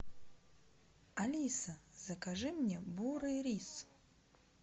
алиса закажи мне бурый рис